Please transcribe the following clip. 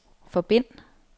forbind